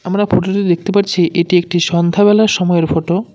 আমরা ফটোতে দেখতে পারছি এটি একটি সন্ধ্যা বেলার সময়ের ফটো ।